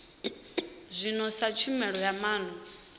zwino sa tshumelo ya maana